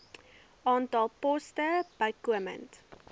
aantal poste bykomend